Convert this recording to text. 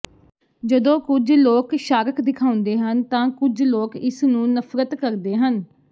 ਜਦੋਂ ਕੁਝ ਲੋਕ ਸ਼ਾਰਕ ਦਿਖਾਉਂਦੇ ਹਨ ਤਾਂ ਕੁਝ ਲੋਕ ਇਸਨੂੰ ਨਫ਼ਰਤ ਕਰਦੇ ਹਨ